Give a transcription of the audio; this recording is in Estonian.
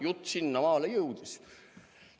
Jutt sinnamaale jõudis.